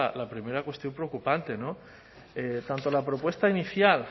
la primera cuestión preocupante tanto la propuesta inicial